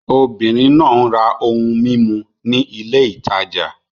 Obìnrin náà ń ra ohun mímu ní ilé ìtajà.